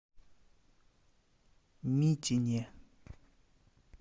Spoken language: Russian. митине